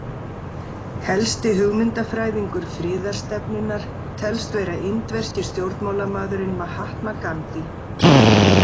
Helsti hugmyndafræðingur friðarstefnunnar telst vera indverski stjórnmálamaðurinn Mahatma Ghandi.